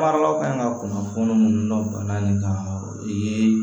Baaraw ka kan ka kunnafoni minnu na bana in kan o yee